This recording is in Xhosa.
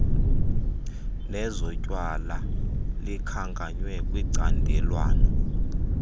nezotywala likhankanywe kwicandelwana